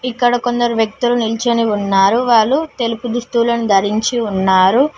ఇక్కడ కొందరు వ్యక్తులు నిల్చొని ఉన్నారు వాళ్ళు తెలుపు దుస్తువులను ధరించి ఉన్నారు.